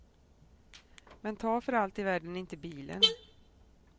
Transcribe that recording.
Men ta för allt i världen inte bilen.